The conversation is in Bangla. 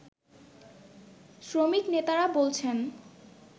শ্রমিকনেতারা বলছেন